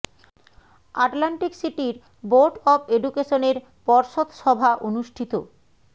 Atlantic সিটির board of education এর পর্ষদ সভা অনুষ্ঠিত